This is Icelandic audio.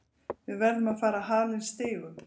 Við verðum að fara að hala inn stigum.